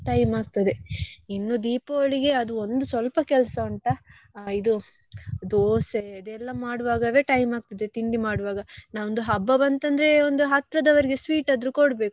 Time ಅಗ್ತದೆ ಇನ್ನು Deepavali ಗೆ ಅದು ಒಂದು ಸ್ವಲ್ಪ ಕೆಲ್ಸ ಉಂಟಾ ಇದು ದೋಸೆ ಅದೆಲ್ಲ ಮಾಡುವಾಗವೇ time ಅಗ್ತದೆ ತಿಂಡಿ ಮಾಡುವಾಗ ನಮ್ದು ಹಬ್ಬ ಬಂತದ್ರೆ ಒಂದು ಹತ್ರದವ್ರಿಗೆ sweet ಆದ್ರೂ ಕೊಡ್ಬೇಕು.